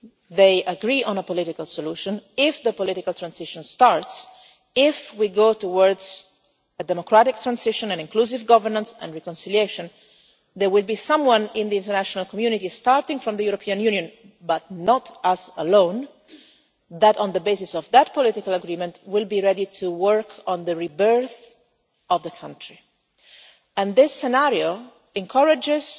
if they agree on a political solution, if the political transition starts, if we go towards a democratic transition with inclusive governance and reconciliation, there will be someone in the international community starting with the European Union but not us alone who, on the basis of that political agreement, will be ready to work on the rebirth of the country. This scenario encourages